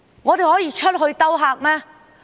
我們可以出去招客嗎？